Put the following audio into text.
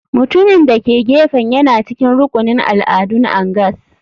Mutumin da ke gefen yana cikin rukunin al'adun angas.